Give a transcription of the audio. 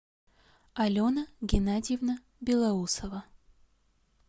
алена геннадьевна белоусова